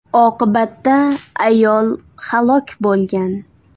Oqibatda ayol halok bo‘lgan.